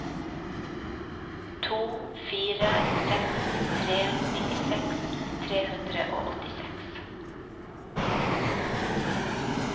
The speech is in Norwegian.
to fire seks tre nittiseks tre hundre og åttiseks